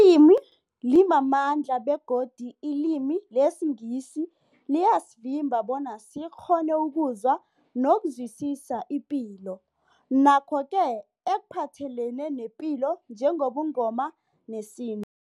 Ilimi limamandla begodu ilimi lesiNgisi liyasivimba bona sikghone ukuzwa nokuzwisisa ipilo nakho koke ekuphathelene nepilo njengobuNgoma nesintu.